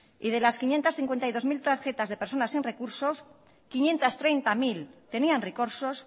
y de las quinientos cincuenta y dos mil tarjetas de personas sin recursos quinientos treinta mil tenían recursos